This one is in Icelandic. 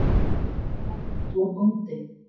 Faðir hans var bóndi.